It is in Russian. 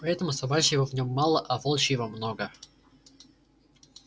поэтому собачьего в нём мало а волчьего много